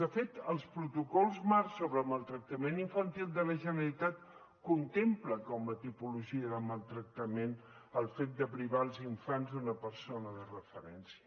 de fet els protocols marc sobre maltractament infantil de la generalitat contemplen com a tipologia de maltractament el fet de privar els infants d’una persona de referència